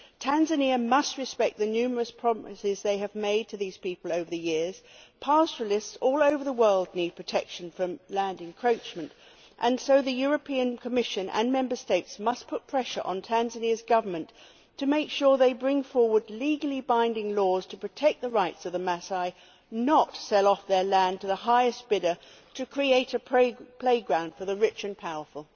Tanzania must respect the numerous promises they have made to these people over the years. Pastoralists all over the world need protection from land encroachment and so the Commission and Member States must put pressure on the Tanzanian Government to make sure it brings forward legally binding laws to protect the rights of the Masai, not sell off their land to the highest bidder to create a playground for the rich and powerful.